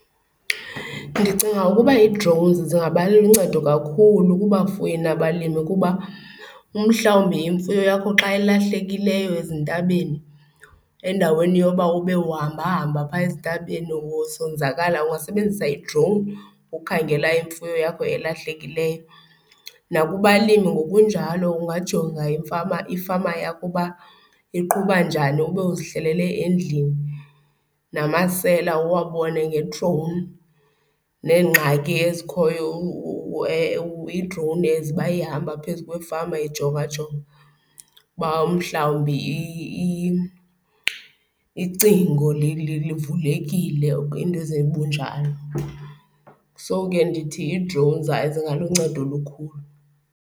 Ndicinga ukuba i-drone zingaba luncedo kakhulu kubafuyi nabalimi kuba umhlawumbi imfuyo yakho xa ilahlekileyo ezintabeni, endaweni yoba ube uhambahamba phaa ezintabeni usonzakala ungasebenzisa i-drone ukhangela imfuyo yakho elahlekileyo. Nakubalimi ngokunjalo ungajonga imfama, ifama yakho uba iqhuba njani ube uzihlalele endlini. Namasela uwabone nge-drone, neengxaki ezikhoyo i-drone as uba ihamba phezu kwefama ijongajonga uba umhlawumbi icingo livulekile iinto ezibunjalo. So ke ndithi i-drone zingaluncedo olukhulu.